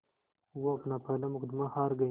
वो अपना पहला मुक़दमा हार गए